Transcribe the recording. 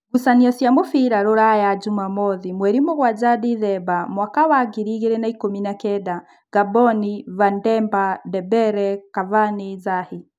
Ngucanio cia mũbira Ruraya Jumamothi mweri mũgwanja Ndithemba mwaka wa ngiri igĩrĩ na ikũmi na kenda: Ngamboni, Vademba, Ndembere, Kavani, Zahi